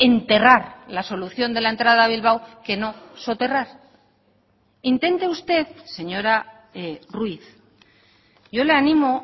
enterrar la solución de la entrada a bilbao que no soterrar intente usted señora ruiz yo le animo